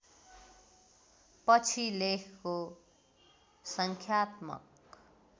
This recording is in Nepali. पछि लेखको सङ्ख्यात्मक